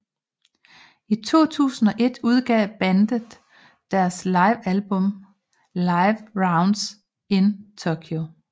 I 2001 udgav bandet deres live album Live Rounds In Tokyo